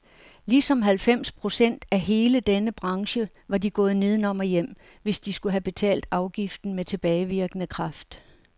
Ligesom halvfems procent af hele denne branche var de gået nedenom og hjem, hvis de skulle have betalt afgiften med tilbagevirkende kraft.